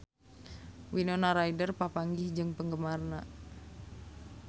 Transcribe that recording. Winona Ryder papanggih jeung penggemarna